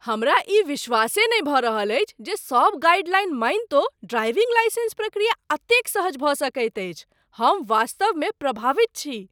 हमरा ई विश्वासे नहि भऽ रहल अछि जे सब गाइडलाइन मानितो ड्राइविंग लाइसेंस प्रक्रिया एतेक सहज भऽ सकैत अछि। हम वास्तवमे प्रभावित छी